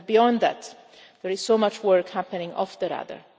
Beyond that, there is so much work happening off the radar.